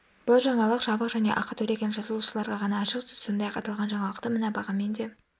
бұл жаңалық жабық және ақы төлеген жазылушыларға ғана ашық сіз сондай-ақ аталған жаңалықты мына бағамен де